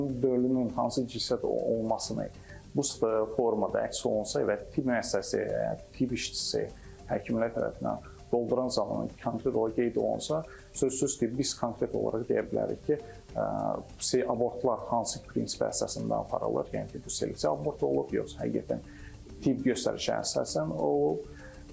Həmin formanın hansı cinsiyyət olmasını bu formada əks olunsa və tibb müəssisəsi tibb işçisi, həkimlər tərəfindən doldurulan zaman konkret olaraq qeyd olunsa, sözsüz ki, biz konkret olaraq deyə bilərik ki, abortlar hansı prinsipə əsasında aparılır, yəni ki, bu selektiv abort olub, yoxsa həqiqətən tibbi göstərişə əsasən olub.